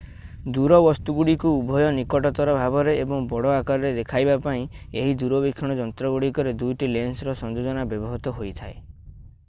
ଦୂର ବସ୍ତୁଗୁଡ଼ିକୁ ଉଭୟ ନିକଟତର ଭାବରେ ଏବଂ ବଡ଼ ଆକାରରେ ଦେଖାଇବା ପାଇଁ ଏହି ଦୂରବୀକ୍ଷଣ ଯନ୍ତ୍ରଗୁଡ଼ିକରେ ଦୁଇଟି ଲେନ୍ସର ସଂଯୋଜନା ବ୍ୟବହୃତ ହୋଇଥାଏ